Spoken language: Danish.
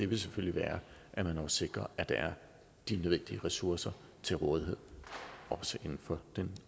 vil selvfølgelig være at man også sikrer at der er de nødvendige ressourcer til rådighed for den